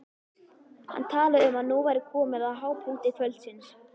Hann talaði um að nú væri komið að hápunkti kvöldsins.